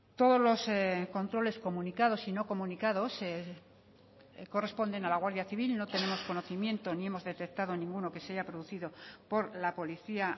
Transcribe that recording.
todos los controles comunicados y no comunicados corresponden a la guardia civil no tenemos conocimiento ni hemos detectado ninguno que se haya producido por la policía